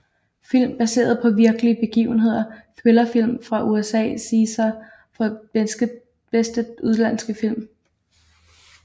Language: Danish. Film baseret på virkelige begivenheder Thrillerfilm fra USA César for bedste udenlandske film